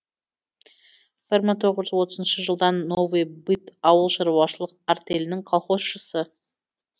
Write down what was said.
бір мың тоғыз жүз отызыншы жылдан новый быт ауыл шаруашылық артелінің колхозшысы